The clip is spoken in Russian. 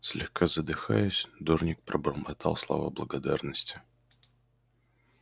слегка задыхаясь дорник пробормотал слова благодарности